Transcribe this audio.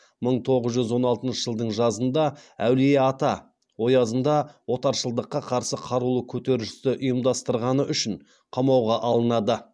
мың тоғыз жүз он алтыншы жылдың жазында әулиеата оязында отаршылдыққа қарсы қарулы көтерілісті ұйымдастырғаны үшін қамауға алынады